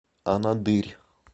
анадырь